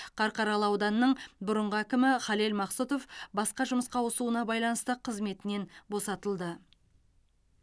қарқаралы ауданының бұрынғы әкімі халел мақсұтов басқа жұмысқа ауысуына байланысты қызметінен босатылды